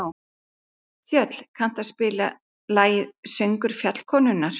Þöll, kanntu að spila lagið „Söngur fjallkonunnar“?